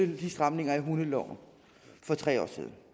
de stramninger i hundeloven for tre år siden